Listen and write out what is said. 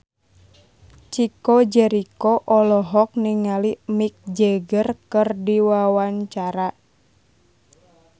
Chico Jericho olohok ningali Mick Jagger keur diwawancara